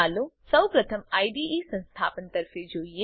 ચાલો સૌપ્રથમ આઇડીઇ સંસ્થાપન તરફે જોઈએ